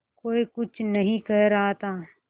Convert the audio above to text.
कोई कुछ नहीं कह रहा था